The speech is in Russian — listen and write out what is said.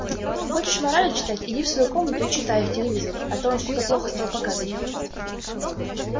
хочешь морали читать иди в свою комнату и читай их телевизору а то он что-то плохо стал показывать